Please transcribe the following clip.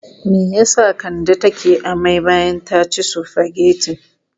Me ya sa Kande take amai bayan ta ci sufagetin?